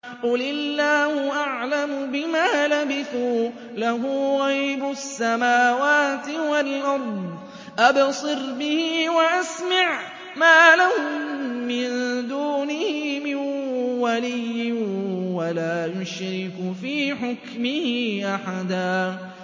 قُلِ اللَّهُ أَعْلَمُ بِمَا لَبِثُوا ۖ لَهُ غَيْبُ السَّمَاوَاتِ وَالْأَرْضِ ۖ أَبْصِرْ بِهِ وَأَسْمِعْ ۚ مَا لَهُم مِّن دُونِهِ مِن وَلِيٍّ وَلَا يُشْرِكُ فِي حُكْمِهِ أَحَدًا